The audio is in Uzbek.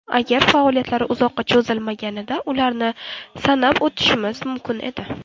Agar faoliyatlari uzoqqa cho‘zilmaganida, ularni sanab o‘tishimiz mumkin edi.